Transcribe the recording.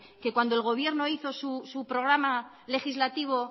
que cuando el gobierno hizo su programa legislativo